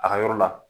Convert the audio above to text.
A ka yɔrɔ la